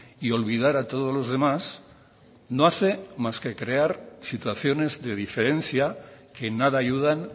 y olvidar a todos los demás no hace más que crear situaciones de diferencia que en nada ayudan